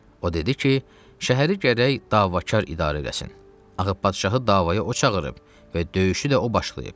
O dedi ki, şəhəri gərək Davakar idarə eləsin, ağı padşahı davaya o çağırıb və döyüşü də o başlayıb.